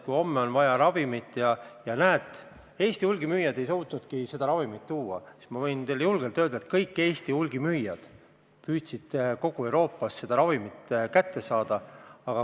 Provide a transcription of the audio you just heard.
Kui homme on vaja mingit ravimit ja Eesti hulgimüüjad ei suutnud seda hankida, siis ma võin teile julgelt öelda, et kõik Eesti hulgimüüjad on püüdnud kogu Euroopast seda kätte saada.